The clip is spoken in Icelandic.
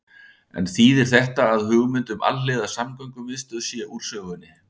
En þýðir þetta að hugmynd um alhliða samgöngumiðstöð sé úr sögunni?